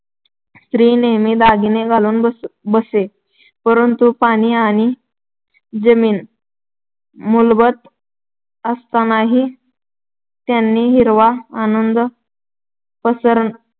स्त्री नेहमी दागिने घालून बसे, परंतु पाणी आणि जमीन मुबलक असतानाही त्यांनी हिरवा आनंद पसरवण्याचा